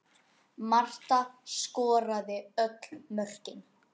Marta skoraði öll mörkin.